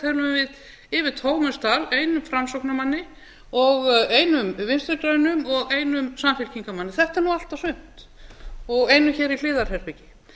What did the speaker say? tölum við yfir tómum sal einum framsóknarmanni og einum vinstri grænum og einum samfylkingarmanni þetta er nú allt og sumt og einum hér í hliðarherbergi